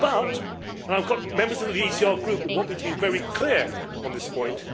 But and members of the ECR Group would want me to be very clear on this point